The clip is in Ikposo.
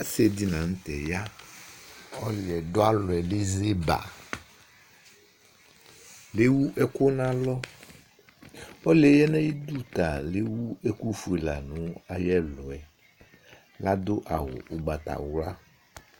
asidɩnɩ lanʊtɛ ya, ɔlʊ yɛ dʊ alɔ yɛ eze ba, ewu ɛkʊ n'alɔ, ɔlʊ yɛ ya nʊ ay'idu yɛ ta ewu ɛkʊfue la nʊ ayʊ ɛlʊ yɛ adʊ awu ugbatawla